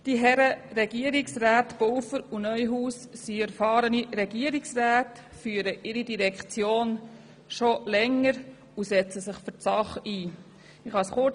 Die Herren Pulver und Neuhaus sind erfahrene Regierungsräte, führen ihre Direktionen schon länger und setzen sich für die Sache ein.